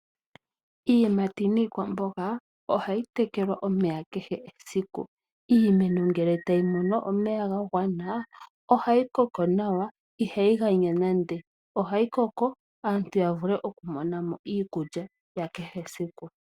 Iiyimati niikwamboga, ohayi tekelwa omeya kehe esiku. Iimeno ngele tayi mono omeya ga gwana, ohayi koko nawa, ihayi ganya nande. Ohayi koko opo aantu ya vule okumona mo iikulya ya kehe esiku.